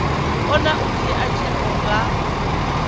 kona u dzhia tsheo nga